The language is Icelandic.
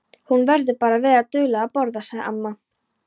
Hún verður bara að vera dugleg að borða, sagði amma.